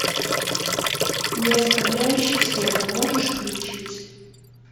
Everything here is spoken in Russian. не оставляющий следа можешь включить